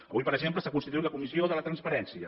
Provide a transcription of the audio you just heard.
avui per exemple s’ha constituït la comissió de la transparència